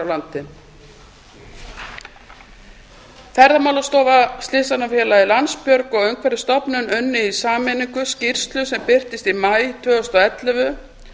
landi ferðamálastofa slysavarnafélagið landsbjörg og umhverfisstofnun unnu í sameiningu skýrslu sem birtist í maí tvö þúsund og ellefu